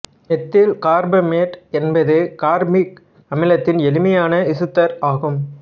methyl carbamate என்பது carbamic அமிலத்தின் எளிமையான எசுத்தர் ஆகும்